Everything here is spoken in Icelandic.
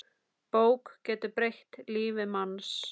Bók getur breytt lífi manns.